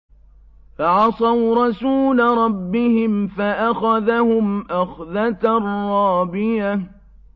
فَعَصَوْا رَسُولَ رَبِّهِمْ فَأَخَذَهُمْ أَخْذَةً رَّابِيَةً